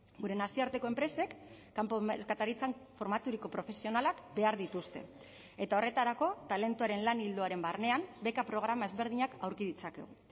gure nazioarteko enpresek kanpo merkataritzan formaturiko profesionalak behar dituzte eta horretarako talentuaren lan ildoaren barnean beka programa ezberdinak aurki ditzakegu